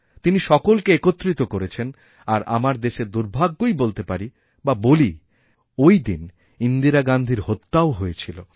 তিনিসকলকে একত্রিত করেছেন আর আমরা দেশের দুর্ভাগ্যই বলতে পারি বা বলি যে ওই দিনইন্দিরা গান্ধীর হত্যাও হয়েছিল